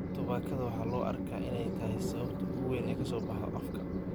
Tubaakada waxaa loo arkaa in ay tahay sababta ugu weyn ee ka soo baxda afka.